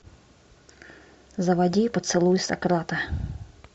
заводи поцелуй сократа